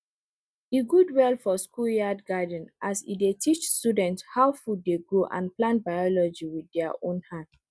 e good well for schoolyard gardens as e dey teach students how food dey grow and plant biology with their own hand